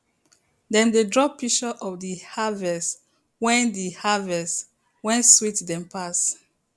dem dey draw picture of the harvest wen the harvest wen sweet dem pass